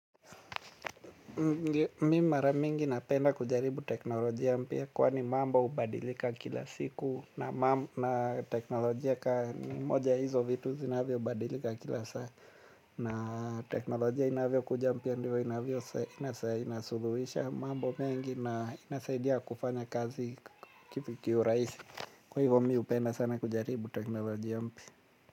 Mimi mara mingi napenda kujaribu teknolojia mpya kwani mambo hubadilika kila siku na mambo na teknolojia ka moja ya hizo vitu zinavyobadilika kila saa na teknolojia inavyokuja mpya ndio inavyo inasuluhisha mambo mengi na inasaidia kufanya kazi kiurahisi kwa hivyo mmi hupenda sana kujaribu teknolojia mpya.